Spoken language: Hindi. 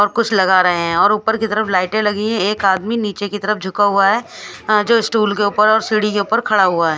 और कुछ लगा रहे है और उपरक की तरफ लाइटे लगी है एक आदमी निचे की तरफ झुका हुआ है जो स्टूल के ऊपर और सीडी के ऊपर खड़ा हुआ है।